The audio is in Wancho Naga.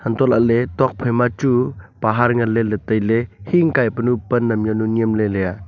untolah le tokphai ma chu pahar nganley le tailey hingkai panu pan am jawnu yem le le aa.